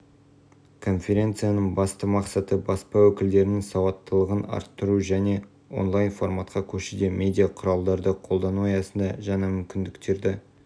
конференцияның басты мақсаты баспа өкілдерінің сауаттылығын арттыру және онлайн-форматқа көшуде медиа құралдарды қолдану аясында жаңа мүмкіндіктерді